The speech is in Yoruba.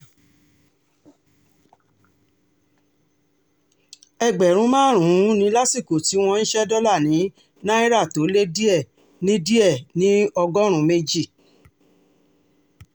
ẹgbẹ̀rún márùn-ún ni lásìkò tí wọ́n ń ṣe dọ́là ní náírà tó lé díẹ̀ ní díẹ̀ ní ọgọ́rùn-ún méjì